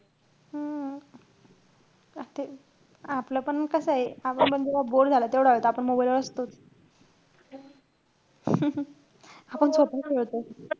हम्म आत आपलं पण कसंय आपण जेव्हा जेवढा वेळ bore झालं, तेवढा वेळ तर आपण mobile वर असतोच. आपण स्वतः खेळत असतो.